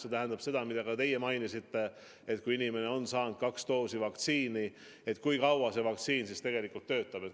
See tähendab küsimusi, mida ka teie mainisite, et kui inimene on saanud kaks doosi vaktsiini, siis kui kaua see vaktsiin tegelikult töötab.